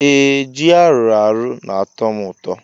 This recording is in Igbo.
Ee ji aruarụ na atọm ụtọ.